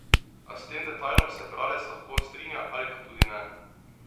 A s tem detajlom se bralec lahko strinja ali pa tudi ne.